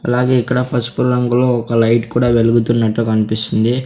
అలాగే ఇక్కడ పసుపు రంగులో ఒక లైట్ కూడా వెలుగుతున్నట్టు కనిపిస్తుంది.